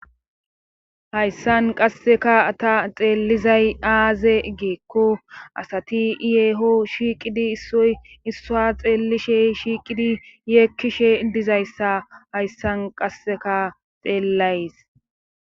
Hayssan qasseka ta xeellizay aaze geekko asati iyeho shiiqidi issoy issua xeellishe shiiqidi yeekkishe dizayssa hayssan qasseka xeellays.